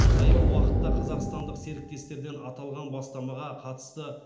таяу уақытта қазақстандық серіктестерден аталған бастамаға қатысты